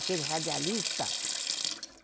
Aquele radialista.